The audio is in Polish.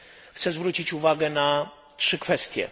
chcę zwrócić uwagę na trzy kwestie.